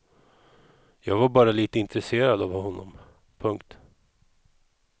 Jag var bara lite intresserad av honom. punkt